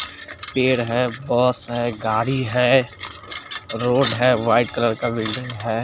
पेड़ है बहोत सारे गाड़ी है रोड है वाइट कलर का बिल्डिंग है।